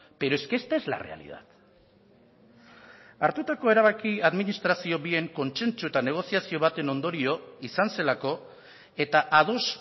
pero es que esta es la realidad hartutako erabakia administrazio bien kontsentsuetan negoziazio baten ondorio izan zelako eta ados